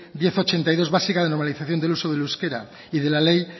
diez barra ochenta y dos básica de normalización del uso del euskera y de la ley